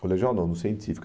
Colegial não, no Científico.